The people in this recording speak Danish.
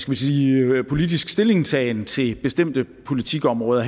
man sige politisk stillingtagen til bestemte politikområder